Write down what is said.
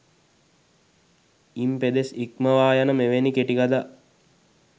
ඉම් පෙදෙස් ඉක්මවා යන මෙවැනි කෙටිකතා